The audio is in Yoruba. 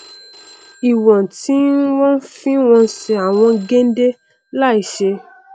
ìwọn tí wọn fi n wọnsẹ àwọn géndé láìí ṣe